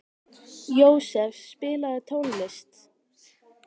Jósef, spilaðu tónlist.